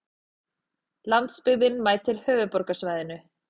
Landsbyggðin mætir höfuðborgarsvæðinu